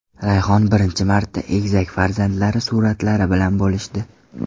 Rayhon birinchi marta egizak farzandlari suratlari bilan bo‘lishdi .